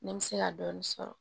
Ne bɛ se ka dɔɔni sɔrɔ